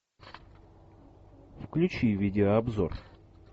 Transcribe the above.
включи видеообзор